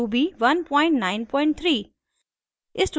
ruby 193